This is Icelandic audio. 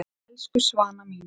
Elsku Svana mín.